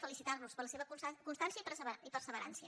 felicitar los per la seva constància i perseverança